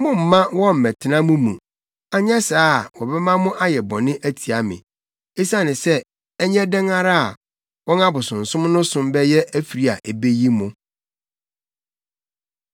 Mommma wɔmmɛtena mo mu, anyɛ saa a wɔbɛma mo ayɛ bɔne atia me; esiane sɛ ɛnyɛ dɛn ara a, wɔn abosonsom no som bɛyɛ afiri a ebeyi mo.”